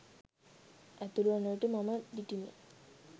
ඇතුළුවන විට මම දිටිමි.